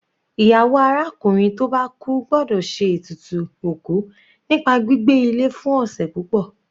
Ìyàwó arákùnrin tó bá kú gbọ́dọ̀ ṣe ètùtù òkú nípa gbígbé ilé fún ọ̀sẹ̀ púpọ̀.